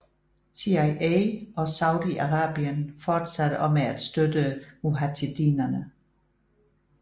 CIA og Saudi Arabien fortsatte også med at støtte mujahedinerne